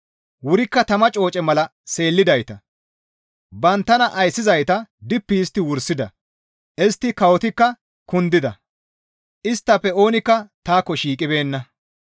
Wurikka tama cooce mala seellidayta; banttana ayssizayta dippi histti wursida. Istta kawotikka kundida; isttafe oonikka taakko shiiqibeenna.